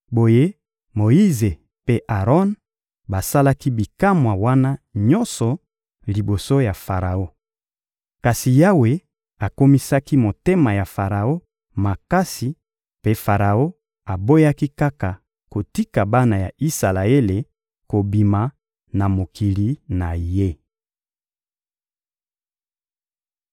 Boye Moyize mpe Aron basalaki bikamwa wana nyonso liboso ya Faraon. Kasi Yawe akomisaki motema ya Faraon makasi mpe Faraon aboyaki kaka kotika bana ya Isalaele kobima na mokili na ye.